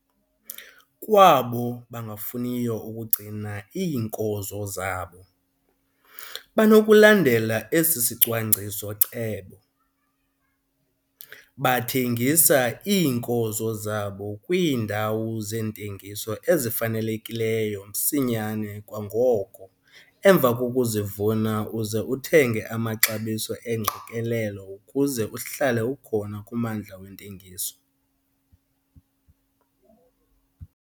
Kwabo bangafuniyo ukugcina iinkozo zabo, banokulandela esi sicwangciso-cebo. Bathengisa iinkozo zabo kwiindawo zentengiso ezifanelekileyo msinyane kangangoko emva kokuzivuna uze uthenge amaxabiso engqikelelo ukuze uhlale ukhona kummandla wentengiso.